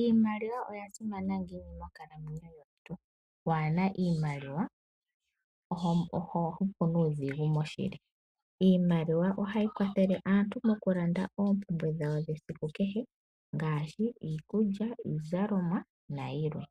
Iimaliwa oya simana ngiini monkalamwenyo yomuntu? Waana iimaliwa oho hupu nuudhigu moshili. Iimaliwa ohayi kwathele aantu mokulanda ooompumbwe dhawo dhesiku kehe ngaashi: iikulya, iizalomwa, nayilwe.